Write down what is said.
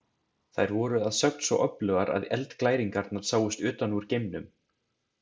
Þær voru að sögn svo öflugar að eldglæringarnar sáust utan úr geimnum.